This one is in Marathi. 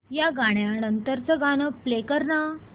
या गाण्या नंतरचं गाणं प्ले कर ना